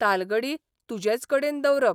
तालगडी तुजेच कडेन दवरप.